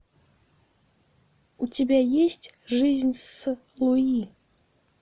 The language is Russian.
у тебя есть жизнь с луи